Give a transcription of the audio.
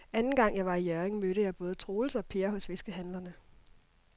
Anden gang jeg var i Hjørring, mødte jeg både Troels og Per hos fiskehandlerne.